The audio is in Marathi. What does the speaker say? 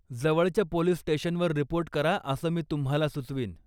जवळच्या पोलीस स्टेशनवर रिपोर्ट करा असं मी तुम्हाला सुचवीन.